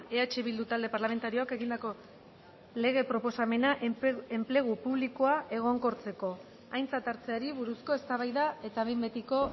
eh bildu talde parlamentarioak egindako lege proposamena enplegu publikoa egonkortzeko aintzat hartzeari buruzko eztabaida eta behin betiko